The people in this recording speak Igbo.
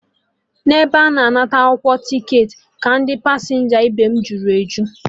N'ebe a na-anata akwụkwọ ticketị ka ndị pasenja ibem juru eju